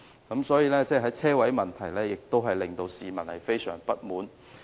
因此，在車位問題上，領展也令市民相當不滿。